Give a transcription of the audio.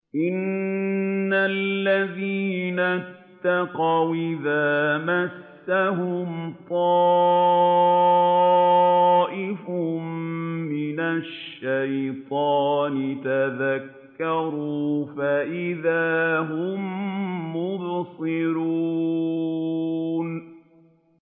إِنَّ الَّذِينَ اتَّقَوْا إِذَا مَسَّهُمْ طَائِفٌ مِّنَ الشَّيْطَانِ تَذَكَّرُوا فَإِذَا هُم مُّبْصِرُونَ